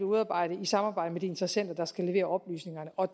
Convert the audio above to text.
udarbejdet i samarbejde med de interessenter der skal levere oplysningerne og